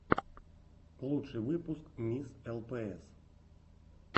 лучший выпуск мисс лпс